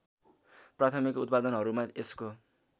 प्राथमिक उत्पादनहरूमा यसको